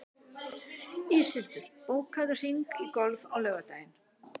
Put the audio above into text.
Íshildur, bókaðu hring í golf á laugardaginn.